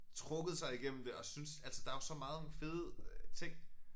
Trukket sig igennem det og synes altså der jo så mange fede øh ting